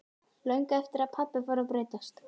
Löngu eftir að pabbi fór að breytast.